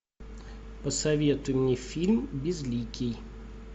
посоветуй мне фильм безликий